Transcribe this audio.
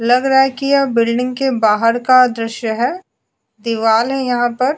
लग रहा है कि यह बिल्डिंग के बाहर का दृश्य है यहां पर --